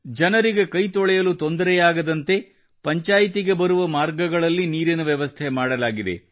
ಜನರಿಗೆ ಕೈತೊಳೆಯಲು ತೊಂದರೆಯಾಗದಂತೆ ಪಂಚಾಯ್ತಿಗೆ ಬರುವ ಮಾರ್ಗಗಳಲ್ಲಿ ನೀರಿನ ವ್ಯವಸ್ಥೆ ಮಾಡಲಾಗಿದೆ